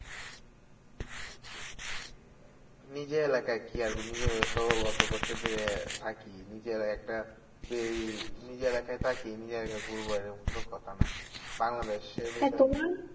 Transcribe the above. নিজের এলাকায় কি আর নিজের তো অত বছর ধরে থাকি নিজের একটা যে এই নিজের এলাকায় থাকি নিজের এলাকা ঘুরবো এরকম কোনো কথা না বাংলাদেশে